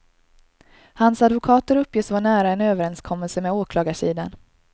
Hans advokater uppges vara nära en överenskommelse med åklagarsidan.